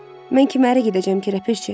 Mən kimə ərə gedəcəm ki, ləpirçi?